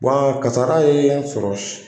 Wa kasara yen n sɔrɔ.